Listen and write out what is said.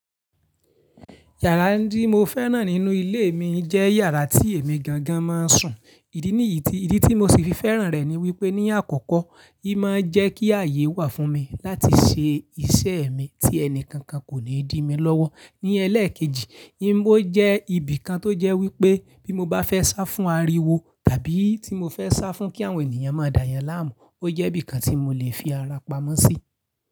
Yàrá tí mo fẹ́ràn nínú ilé mi jẹ́ yàrá tí èmi gangan mọ́ han ń sùn. Ìdí níyì tí ìdí tí mo sì fi fẹ́ràn rẹ̀ ni wípé ní àkọ́kọ́, í mọ́ ń jẹ́ kí ààyè wà fún mi láti ṣe iṣẹ́ mi tí ẹni kankan kò ní dí mi lọ́wọ́. Ní ẹlẹ́ẹ̀kejì, yìí bó jẹ́ ibìkan tó jẹ́ wípé bí mo bá fẹ́ sá fún ariwo tàbí tí mo fẹ́ sá fún kí àwọn ènìyàn mọ́ han dá yàn láàmú, ó jẹ́ bìkan tí mo lè fi ara pamọ́ sí.